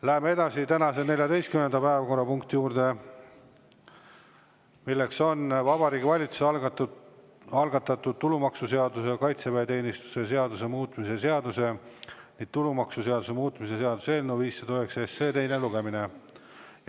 Lähme edasi tänase 14. päevakorrapunkti juurde, mis on Vabariigi Valitsuse algatatud tulumaksuseaduse ja kaitseväeteenistuse seaduse muutmise seaduse ning tulumaksuseaduse muutmise seaduse eelnõu 509 teine lugemine.